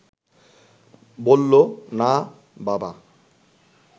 বলল, না, বাবা